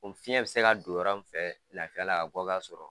O fiɲɛ bɛ se ka don yɔrɔ min fɛ lafiya la ka bɔ k'a sɔrɔ